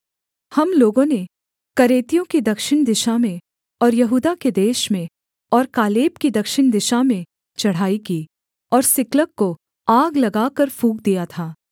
हम लोगों ने करेतियों की दक्षिण दिशा में और यहूदा के देश में और कालेब की दक्षिण दिशा में चढ़ाई की और सिकलग को आग लगाकर फूँक दिया था